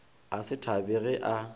a se thabe ge a